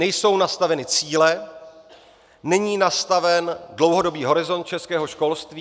Nejsou nastaveny cíle, není nastaven dlouhodobý horizont českého školství.